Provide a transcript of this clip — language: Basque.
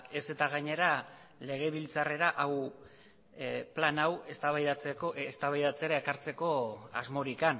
ezta gainera legebiltzarrera plan hau eztabaidatzera ekartzeko asmorik